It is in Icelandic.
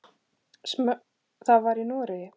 Það var í Noregi.